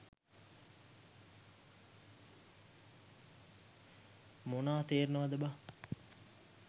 මොනා තේරෙනවද බන්.